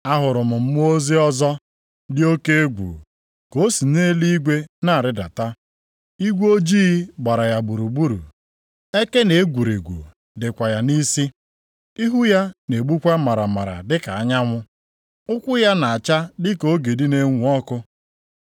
Ahụrụ m mmụọ ozi ọzọ dị oke egwu ka o si nʼeluigwe na-arịdata. Igwe ojii gbara ya gburugburu. Eke na egwurugwu dịkwa ya nʼisi. Ihu ya na-egbukwa maramara dịka anyanwụ. Ụkwụ ya na-acha dịka ogidi na-enwu ọkụ.